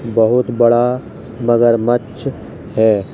बहुत बड़ा मगरमच्छ है।